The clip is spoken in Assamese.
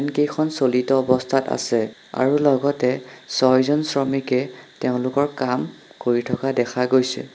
ফেন কেইখন চলিত অৱস্থাত আছে আৰু লগতে চইজন শ্ৰমিকে তেওঁলোকৰ কাম কৰি থকা দেখা গৈছে।